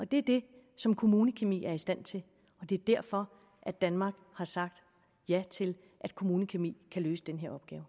det er det som kommunekemi er i stand til og det er derfor at danmark har sagt ja til at kommunekemi kan løse den